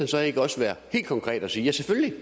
så ikke også være helt konkret og sige ja selvfølgelig